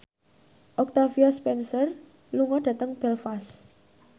Octavia Spencer lunga dhateng Belfast